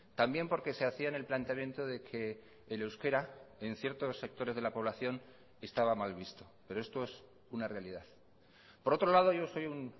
también porque se hacían el planteamiento de que el euskera en ciertos sectores de la población estaba mal visto pero esto es una realidad por otro lado yo soy un